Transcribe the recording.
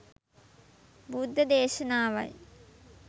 බුද්ධ දේශනාවයි.